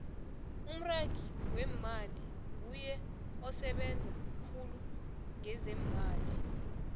umragi wemmali nguye osebenza khulu ngezeemali